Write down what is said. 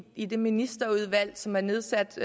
i det ministerudvalg som er nedsat